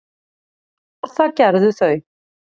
og það gerðu þau.